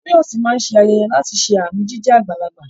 Toyosi máa ṣe ayẹyẹ láti ṣe àmì jíjẹ́ àgbàlagbà.